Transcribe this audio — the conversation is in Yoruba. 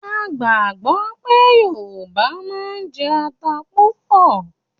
A gbàgbọ́ pé Yorùbá máa ń jẹ ata púpọ̀